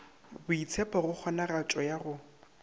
boitshepho go kgonagatšo ya go